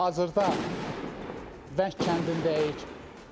Hazırda Vəng kəndindəyik.